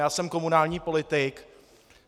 Já jsem komunální politik.